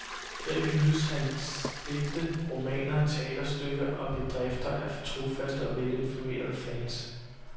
Her hyldes hans digte, romaner, teaterstykker og bedrifter af trofaste og velinformerede fans.